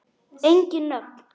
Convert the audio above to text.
Engin nöfn.